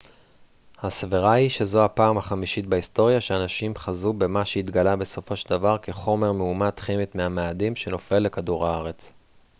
הסברה היא שזו הפעם החמישית בהיסטוריה שאנשים חזו במה שהתגלה בסופו של דבר כחומר מאומת כימית מהמאדים שנופל לכדור הארץ